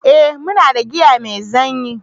eh muna da giya mai zanyi